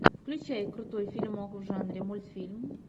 включай крутой фильмок в жанре мультфильм